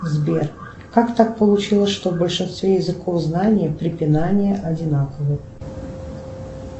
сбер как так получилось что в большинстве языков знания препинания одинаковы